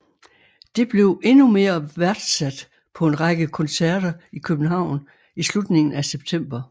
Det blev endnu mere værdsat på en række koncerter i København i slutningen af september